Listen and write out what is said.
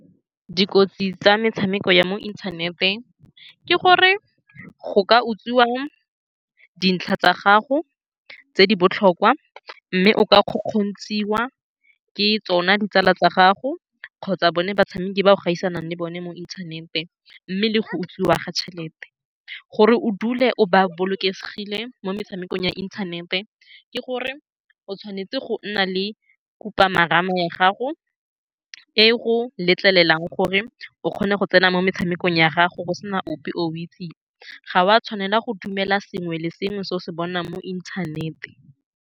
Dikotsi tsa metshameko ya mo inthanete ke gore go ka utswiwa dintlha tsa gago tse di botlhokwa, mme o ka kgokgontshiwa ke tsone ditsala tsa gago kgotsa bone batshameki ba o gaisanang le bone mo inthaneteng, mme le go utswiwa ga tšhelete. Gore o dule o bolokesegile mo metshamekong ya inthanete, ke gore o tshwanetse go nna le khupamarama ya gago e e go letlelelang gore o kgone go tsena mo metshamekong ya gago go sena ope o itseng. Ga wa tshwanela go dumela sengwe le sengwe se o se bonang mo inthanete.